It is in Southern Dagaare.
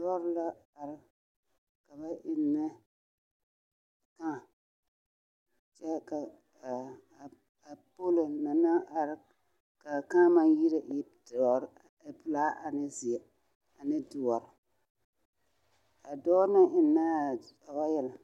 Lɔɔre la are ka ba eŋnɛ kaa kyɛ ka a pɔlɔ mine naŋ are a kaa maŋ yire doɔre pelaa ane doɔre a dɔɔ naŋ eŋnaa ɔɔyɛl